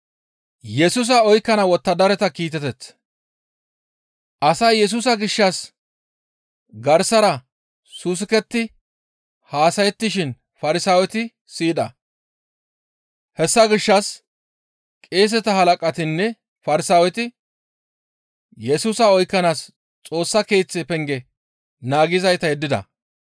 Asay Yesusa gishshas garsara saasuketti haasayettishin Farsaaweti siyida. Hessa gishshas qeeseta halaqatinne Farsaaweti Yesusa oykkanaas Xoossa Keeththa penge naagizayta yeddida.